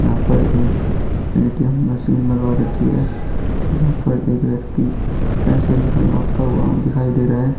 यहां पर एक एटीएम मशीन लगा रखी है जहां पर एक व्यक्ति पैसे निकलवाता हुआ दिखाई दे रहा है.